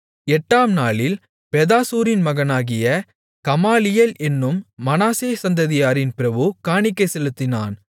எட்டாம் நாளில் பெதாசூரின் மகனாகிய கமாலியேல் என்னும் மனாசே சந்ததியாரின் பிரபு காணிக்கை செலுத்தினான்